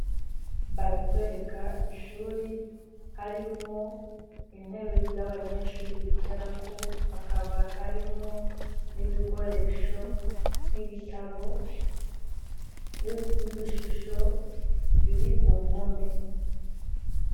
Baratwereka ishuri harimwo intebe z'abanyeshuri bicara ko hakaba harimwo n'ibikoresho nibitabu n'ibishusho biri ku mpome.